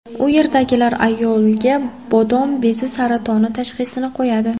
U yerdagilar ayolga bodom bezi saratoni tashxisini qo‘yadi.